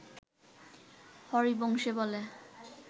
হরিবংশে বলে